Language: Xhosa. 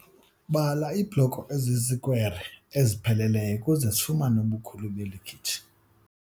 Bala iibhloko ezizikwere ezipheleleyo ukuze sifumane ubukhulu beli khitshi.